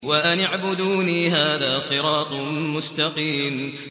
وَأَنِ اعْبُدُونِي ۚ هَٰذَا صِرَاطٌ مُّسْتَقِيمٌ